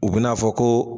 U bɛ n'a fɔ ko